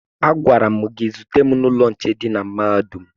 Agwara m gị zute m n'ụlọ nche dị na mahadum!